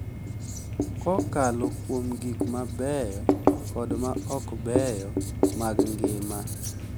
Kokalo kuom gik mabeyo kod ma okbeyo mag ngima,